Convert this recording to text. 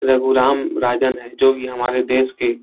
रघु राम राजन है जो भी हमारे देश के --